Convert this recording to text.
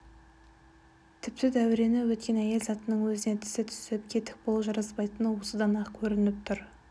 тіпті дәурені өткен әйел затының өзіне тісі түсіп кетік болу жараспайтыны осыдан-ақ көрініп тұр